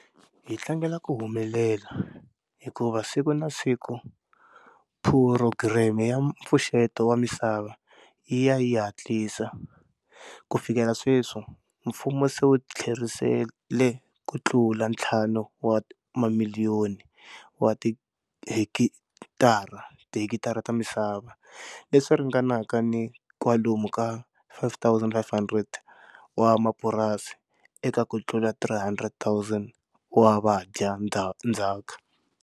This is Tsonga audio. Hi tlangela ku humelela, hikuva siku na siku Phurogireme ya Mpfuxeto wa Misava yi ya yi hatlisa. Ku fikela sweswi, mfumo se wu tlherisele ku tlula ntlhanu wa mamiliyoni wa tihekitara ta misava, leswi ringanaka ni kwalomu ka 5 500 wa mapurasi, eka ku tlula 300 000 wa vadya ndzhaka.